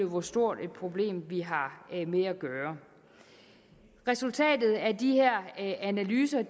hvor stort et problem vi har med at gøre resultatet af de her analyser